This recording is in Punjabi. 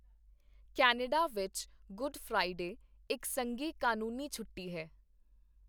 ਕੈਨੇਡਾ ਵਿੱਚ ਗੁੱਡ ਫ੍ਰਾਈਡੇ ਇੱਕ ਸੰਘੀ ਕਾਨੂੰਨੀ ਛੋਟੀ ਹੈ।